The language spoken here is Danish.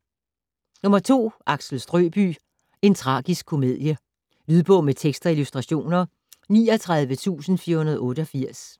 Axel Strøbye: en tragisk komedie Lydbog med tekst og illustrationer 39488